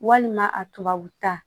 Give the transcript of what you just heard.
Walima a tubabu ta